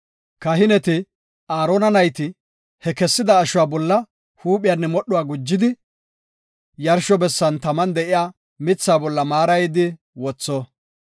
Kahineti, Aarona nayti he kessida ashuwa bolla huuphiyanne modhuwa gujidi, yarsho bessan taman de7iya mithaa bolla maarayidi wotho.